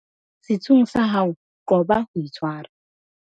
setsung tsa hao qoba ho itshwara